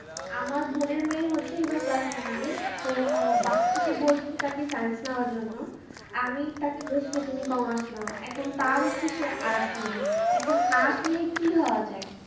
আমার বোনের মেয়ের হচ্ছে এবারে class nine এ । তো আহ বাকিরা তাকে বলছে science নেওয়ার জন্য, আমি তাকে বলছি যে তুমি commerce নাও। এখন তার ইচ্ছে সে arts নেবে। এখন arts নিয়ে কি হওয়া যায়?